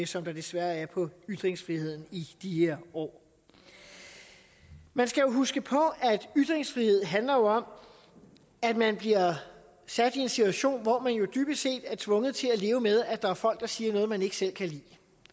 som der desværre er på ytringsfriheden i de her år man skal jo huske på at ytringsfrihed handler om at man bliver sat i en situation hvor man dybest set er tvunget til at leve med at der er folk der siger noget man ikke selv kan lide